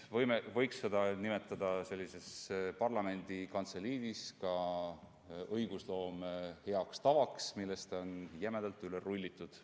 Seda võiks parlamendi kantseliidis nimetada ka õigusloome heast tavast jämedalt üle rullimiseks.